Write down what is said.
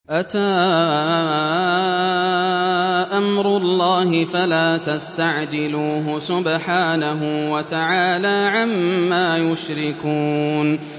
أَتَىٰ أَمْرُ اللَّهِ فَلَا تَسْتَعْجِلُوهُ ۚ سُبْحَانَهُ وَتَعَالَىٰ عَمَّا يُشْرِكُونَ